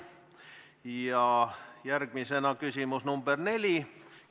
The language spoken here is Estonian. Ja järgmisena küsimus nr 4.